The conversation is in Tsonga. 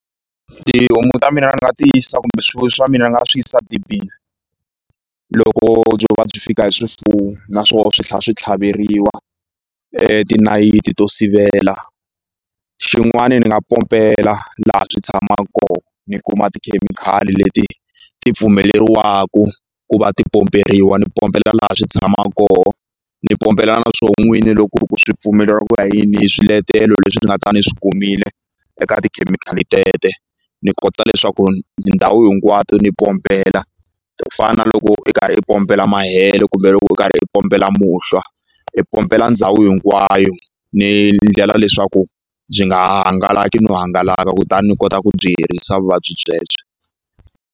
Tihomu ta mina ni nga ti yisa kumbe swifuwo swa mina ni nga swi yisa dibini loko byo va byi fika hi swifuwo na swo swi tlha swi tlhaveriwa tinayiti to sivela xin'wani ni nga pompela laha swi tshama ko ni kuma tikhemikhali leti ti pfumeliwaku ku va ti pomperiwa ni pompela laha swi tshamaka koho ni pompela na swo n'wini loko ku ri ku swi pfumeleriwa ku ya ni hi swiletelo leswi ni nga ta ni swi kumile eka tikhemikhali tete ni kota leswaku ndhawu hinkwato ni pompela to fana na loko i karhi i pompela mahele kumbe loko u karhi u pompela muhlwa i pompela ndhawu hinkwayo ni ndlela leswaku byi nga hangalaki no hangalaka kutani ni kota ku byi herisa vuvabyi byebyo.